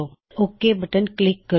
ਹੁਣ okay button ਉੱਤੇ click ਕਰੋ